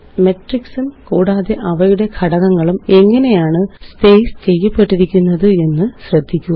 മെട്രിക്സും കൂടാതെ അവയുടെ ഘടകങ്ങളും എങ്ങനെയാണ് സ്പേസ് ചെയ്യപ്പെട്ടിരിക്കുന്നത് എന്ന് ശ്രദ്ധിക്കുക